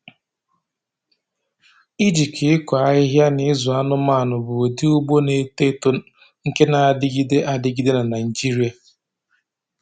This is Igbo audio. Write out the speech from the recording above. Ịjikọ ịkụ ahịhịa na ịzụ anụmanụ bụ ụdị ugbo na-eto eto nke na-adịgide adịgide na Naịjirịa.